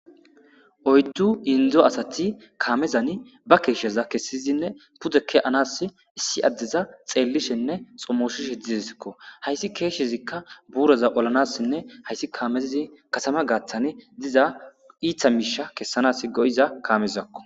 oyddu indzo asati kaamezani ba keeshsheza kessizinne pudeke-anas issi addeza xeellishenne xommoshish hedizsikko hayssi keeshshezikka buuroza olanassinne hayssi kaamezzi kasama gaaththane diza iitha miisha kessanas go7iza kaamezakko